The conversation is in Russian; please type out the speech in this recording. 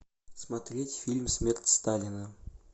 смотреть фильм смерть сталина